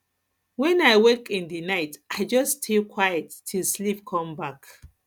when i wake in the night i just stay quiet till sleep come back